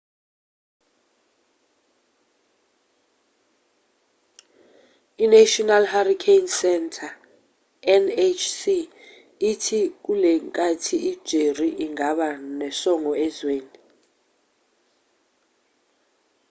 inational hurricane center nhc ithi kulenkathi ijerry ingaba nosongo ezweni